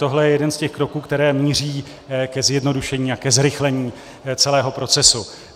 Tohle je jeden z těch kroků, které míří ke zjednodušení a ke zrychlení celého procesu.